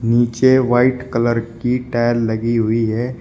नीचे white colour की tile लगी हुई है।